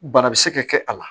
Bana bɛ se ka kɛ a la